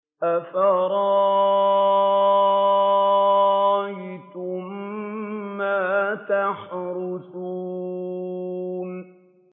أَفَرَأَيْتُم مَّا تَحْرُثُونَ